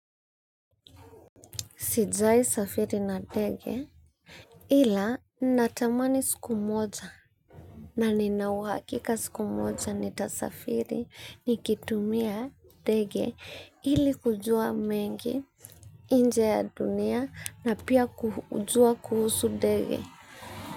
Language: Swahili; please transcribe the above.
Sijawahi safiri na ndege ila, natamani siku moja na nina uhakika siku moja nitasafiri nikitumia ndege, ili kujua mengi nje ya dunia na pia kujua kuhusu ndege.